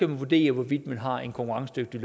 man vurdere hvorvidt man har en konkurrencedygtig